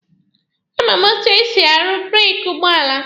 A ma m etu esi aruzi breeki ụgbọala.